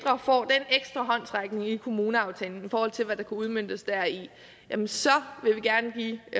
at håndsrækning i kommuneaftalen i forhold til hvad der kan udmøntes deri jamen så vil vi gerne give